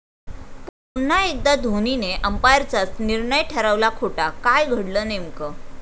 पुन्हा एकदा धोनीने अंपायरचाच निर्णय ठरवला खोटा, काय घडलं नेमकं?